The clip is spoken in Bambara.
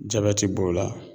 Jabɛti b'o la